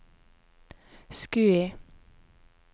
Skui